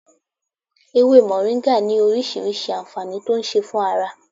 Ewé moringa ní orísìírísìí anfaani tó ń ṣe fún ara